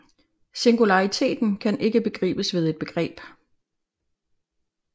Singulariteten kan ikke begribes ved et begreb